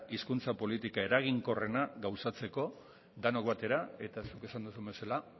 hizkuntza politika eraginkorrena gauzatzeko denok batera eta zuk esan duzun bezala